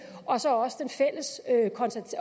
og så